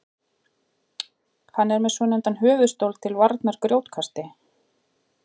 hann er með svonefndan höfuðstól til varnar grjótkasti